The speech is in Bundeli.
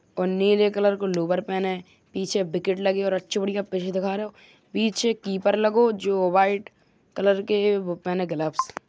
और नीले कलर को लोअर पहने है। पीछे विकेट लगी और अच्छा बढ़िया पिच दिखारो। पीछे कीपर लगो जो वाइट कलर के वो पहने ग्लव्स ।